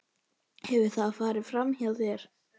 Hefur það farið framhjá þér?